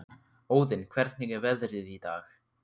Óðinn, hvernig er veðrið í dag?